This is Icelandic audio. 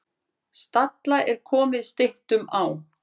Stalla er komið styttum á.